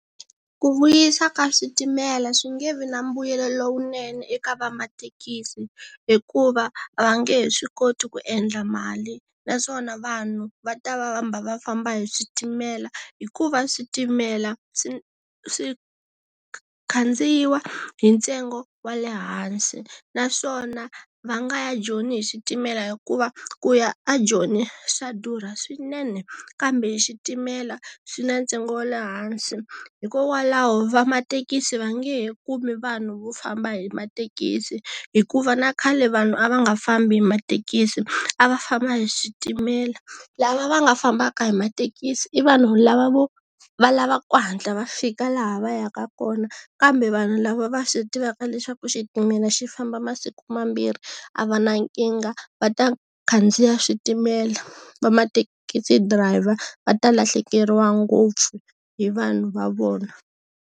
Ku vuyisa ka switimela swi nge vi na mbuyelo lowunene eka va mathekisi, hikuva a va nge he swi koti ku endla mali, naswona vanhu va ta va hamba va famba hi switimela, hikuva switimela swi swi khandziya hi ntsengo wa le hansi. Naswona, va nga ya Joni hi switimela hikuva, ku ya aJoni swa durha swinene kambe hi xitimela, swi na ntsengo wa le hansi. Hikokwalaho va mathekisi va nge he kumi vanhu vo famba hi mathekisi. Hikuva na khale vanhu a va nga fambi hi mathekisi, a va famba hi switimela. Lava va nga fambaka hi mathekisi i vanhu lava vo, va lava ku hatla va fika laha va yaka kona kambe vanhu lava va swi tivaka leswaku xitimela xi famba masiku mambirhi, a va na nkingha va ta khandziya switimela. Va mathekisi drayiva va ta lahlekeriwa ngopfu hi vanhu va vona.